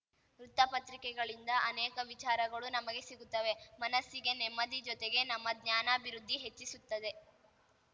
ವೃತ್ತಪತ್ರಿಕೆಗಳಿಂದ ಅನೇಕ ವಿಚಾರಗಳು ನಮಗೆ ಸಿಗುತ್ತವೆ ಮನಸ್ಸಿಗೆ ನೆಮ್ಮದಿ ಜೊತೆಗೆ ನಮ್ಮ ಜ್ಞಾನಾಭಿವೃದ್ಧಿ ಹೆಚ್ಚಿಸುತ್ತದೆ